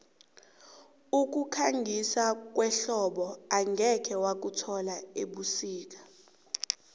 ukukhangisa kwehlobo angeze wakuthola ebusika